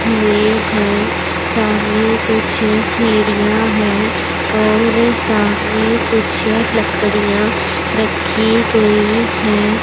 हुए हैं सामने कुछ सीढ़ियां है और सामने कुछ लकड़ियां रखी गई है।